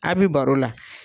A' be baro la